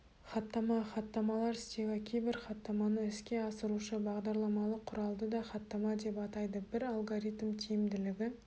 хаттама хаттамалар стегі кейбір хаттаманы іске асырушы бағдарламалық құралды да хаттама деп атайды бір алгоритм тиімділігі